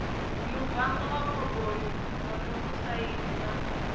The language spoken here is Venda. muvango wa khaboni monokosaidi na